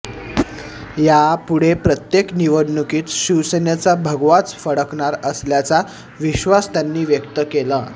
यापुढे प्रत्येक निवडणुकीत शिवसेनेचा भगवाच फडकणार असल्याचा विश्वास त्यांनी व्यक्त केला